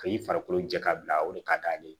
Ka i farikolo jɛ ka bila o de ka d'ale ye